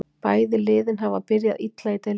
Bæði liðin hafa byrjað illa í deildinni.